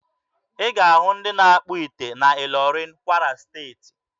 Ị ga-ahụ ndị na-akpụ ite na Ịlọrịn, Kwara Steeti.